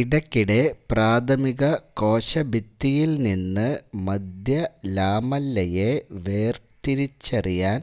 ഇടയ്ക്കിടെ പ്രാഥമിക കോശഭിത്തിയിൽ നിന്ന് മധ്യ ലാമെല്ലയെ വേർതിരിച്ചറിയാൻ